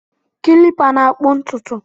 Kilipa na-akpụ ntụtụ